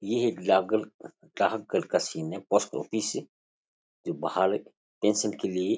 ये एक डाकघर डाकघर का सीन है पोस्ट ऑफिस से जो के लिए --